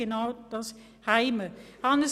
Genau dies ist erfolgt.